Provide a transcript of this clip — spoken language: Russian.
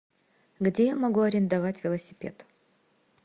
где я могу арендовать велосипед